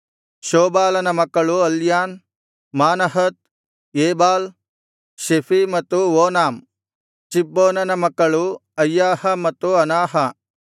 ಶೋಬಾಲನ ಮಕ್ಕಳು ಅಲ್ಯಾನ್ ಮಾನಹತ್ ಏಬಾಲ್ ಶೆಫೀ ಮತ್ತು ಓನಾಮ್ ಚಿಬ್ಬೋನನ ಮಕ್ಕಳು ಅಯ್ಯಾಹ ಮತ್ತು ಅನಾಹ